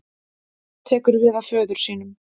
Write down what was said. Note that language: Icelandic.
Tekur við af föður sínum